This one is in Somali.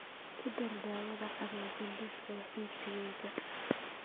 ku dar daawada cadayga liiska wax iibsigayga